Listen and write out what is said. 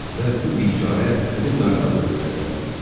Və bu bikarə həmin narahat ölülərdəndir.